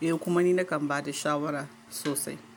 yi. Eh, kuma ni nakan ba da shawara sosai.